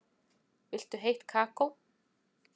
Viltu heitt kakó?